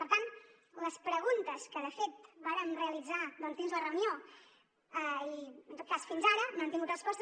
per tant les preguntes que de fet vàrem realitzar doncs dins la reunió i en tot cas fins ara no han tingut respostes